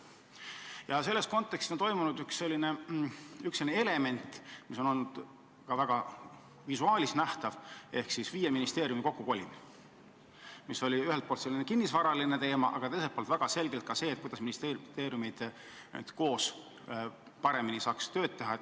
Ja selle raames on tehtud üks samm, mis on ka visuaalselt vägagi nähtav: see on viie ministeeriumi kokkukolimine, mis oli ühelt poolt selline kinnisvaraline ettevõtmine, aga teiselt poolt väga selgelt sihitud sellele, et ministeeriumid saaks paremini koostööd teha.